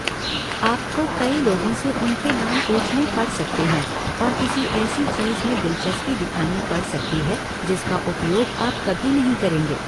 आपको कई लोगों से उनके नाम पूछने पड़ सकते हैं और किसी ऐसी चीज़ में दिलचस्पी दिखानी पड़ सकती है जिसका उपयोग आप कभी नहीं करेंगे।